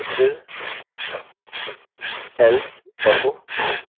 और फिर else